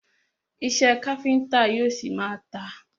Iṣẹ́ káfíńńtà yóò ṣi má a tà.